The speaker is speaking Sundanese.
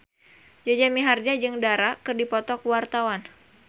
Jaja Mihardja jeung Dara keur dipoto ku wartawan